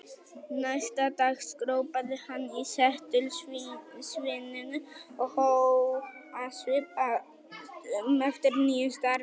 Næsta dag skrópaði hann í setuliðsvinnunni og hóf að svipast um eftir nýju starfi.